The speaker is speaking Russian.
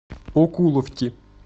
окуловки